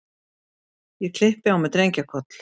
Ég klippi á mig drengjakoll.